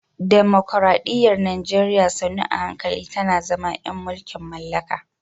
Dimokuradiyyar Najeriya sannu a hankali tana zama ‘yan mulkin mallaka